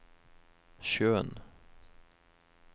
sjøen